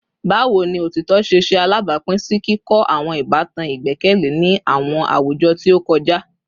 Bawo ni otitọ ṣe ṣe alabapin si kikọ awọn ibatan igbẹkẹle ni awọn awujọ ti o kọja?